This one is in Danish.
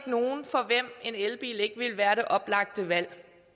nogle for hvem en elbil ikke vil være det oplagte valg